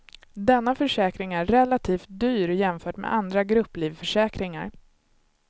Denna försäkring är relativt dyr jämfört med andra grupplivförsäkringar.